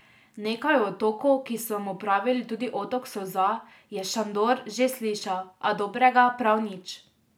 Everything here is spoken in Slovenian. Nekaj o otoku, ki so mu pravili tudi Otok solza, je Šandor že slišal, a dobrega prav nič.